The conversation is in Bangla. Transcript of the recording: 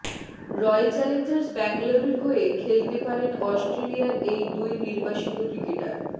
রয়্যাল চ্যালেঞ্জার্স ব্যাঙ্গালোরের হয়ে খেলতে পারেন অস্ট্রেলিয়ার এই দুই নির্বাসিত ক্রিকেটার